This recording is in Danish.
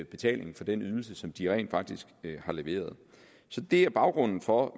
betaling for den ydelse som de rent faktisk har leveret det er baggrunden for